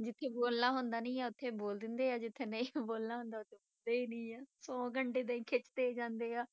ਜਿੱਥੇ ਬੋਲਣਾ ਹੁੰਦਾ ਨੀ ਆਂ ਉੱਥੇ ਬੋਲ ਦਿੰਦੇ ਆ, ਜਿੱਥੇ ਨਹੀਂ ਬੋਲਣਾ ਹੁੰਦਾ , ਉੱਥੇ ਨਹੀਂ ਆ, ਸੌ ਘੰਟੇ ਏਦਾਂ ਹੀ ਖਿੱਚਦੇ ਜਾਂਦੇ ਆ